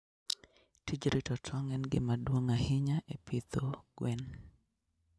Tij rito tong' en gima duong' ahinya e pidho gwen.